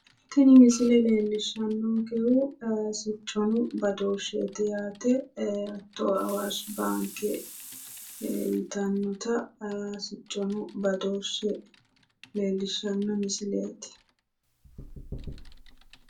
tini misile leellishshannonkehu sicconna badooshsheho yaate ee hattono awaashi baanke yitannota sicconna badooshshe leellishshanno misileeti.